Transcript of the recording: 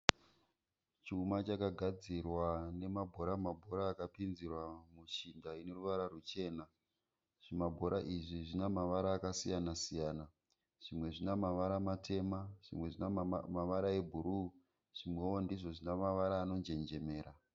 Chuma chakagadzirwa nema bhora mabhora akapinzirwa mushinda ineruvara ruchena. Zvima bhora izvi zvina mavara akasiyana siyana. Zvimwe zvina mavara matema, zvimwe zvina mavara ebhuruu, zvimwewo ndizvo zvina mavara ano njenjemera.